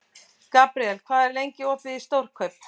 Gabriel, hvað er lengi opið í Stórkaup?